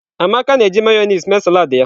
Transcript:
Amaka na-eji Mayonezi mee salad ya.